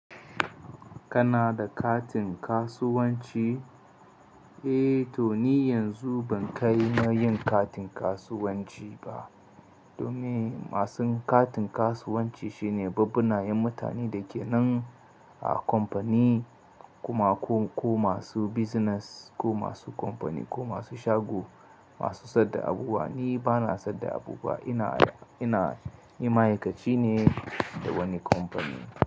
Kana da katin kasuwanci? Eh to ni yanzu ban kai na yin katin kasuwanci ba. Domin masun katin kasuwanci shine bubbanayen mutane da ke nan a company kuma ko masu business ko masu company ko masu shago, masu sayar da abubuwa. Ni bana sayar da abubuwa, ina ni ma'aikaci ne a wani company.